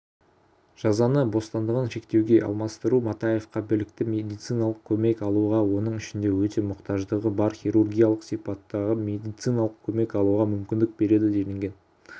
жазаны бостандығын шектеуге алмастыру матаевке білікті медициналық көмек алуға оның ішінде өте мұқтаждығы бар хирургиялық сипаттағымедициналық көмек алуға мүмкіндік береді делінген